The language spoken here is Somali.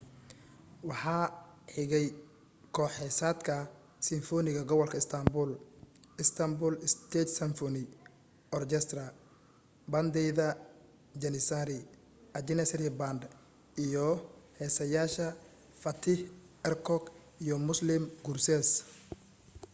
waxaa xigay koox-heesaadka simfoniga gobolka istanbul istanbul state symphony orchestra baandeyda janissari a janissary band iyo heesaayaasha fatih erkoç iyo müslüm gürses